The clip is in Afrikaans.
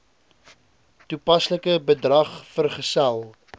toepaslike bedrag vergesel